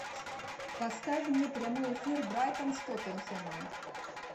поставь мне прямой эфир брайтон с тоттенхэмом